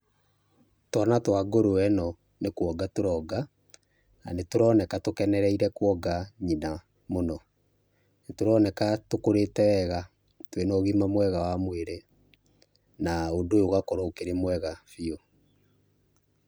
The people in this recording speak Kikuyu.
Twana twa ngũrwe ĩno nĩ kwonga tũronga, na tũroneka tũkenereire kwonga nyina mũno. Nĩ tũroneka tũkũrĩte wega twĩna ũgima mwega wa mwĩrĩ, na ũndũ ũyũ ũgagĩkorwo ũkĩrĩ mwega biũ.